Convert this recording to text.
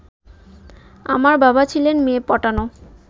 আমার বাবা ছিলেন মেয়ে-পটানো